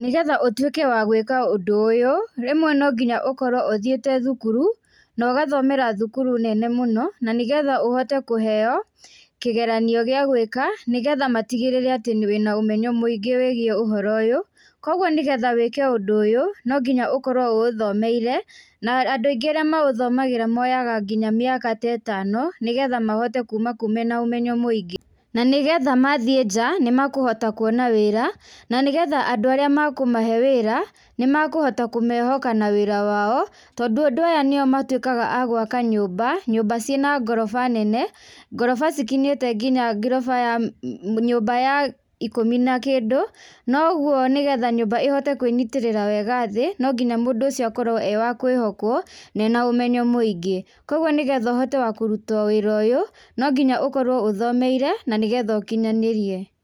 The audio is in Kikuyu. Nĩgetha ũtuĩke wa gwĩka ũndũ ũyũ rĩmwe no nginya ũkorwo ũthiĩte thukuru, na ũgathomera thukuru nene mũno na nĩgetha ũhote kũheyo kĩgeranio gĩa gwĩka nĩgetha matigĩrĩre wĩna ũmenyo mũingĩ wĩgiĩ ũhoro ũyũ, kogwo nĩgetha wĩke ũndũ ũyũ no ngĩnya ũkorwo ũũthomeire na andũ aingĩ arĩa maũthomagĩra moyaga nginya mĩaka ta ĩtano, nĩgetha mahote kuuma kũu me na ũmenyo mũingĩ, na nĩgetha mathiĩ nja nĩmekũhota kũona wĩra na nĩgetha andũ arĩa mekũmahe wĩra nĩmakũhota kũmehoka na wĩra wa o tondũ andũ aya nĩ o matuĩkaga agwaka nyũmba, nyũmba cĩ na ngoroba nene, ngoroba cikinyĩte nginya ngoroba ya nyũmba ya ikũmi na kĩndũ, noguo nĩgetha nyũmba ĩhote kwĩnyitĩrĩra wega thĩ no nginya mũndũ ũcio akorwo e wa kwĩhokwo na e na ũmenyo mũingĩ, kogwo nĩgetha ũhote wa kũruta wĩra ũyũ no nginya ũkorwo ũthomeire na nĩgetha ũkinyanĩrie.